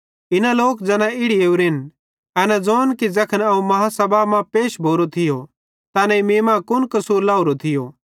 इना लोक ज़ैना इड़ी ओरेन एना ज़ोन कि ज़ैखन अवं बेड्डी आदालती मां पैश भोरो थियो त एनेईं मीं मां कुन कसूर लाहोरो थियो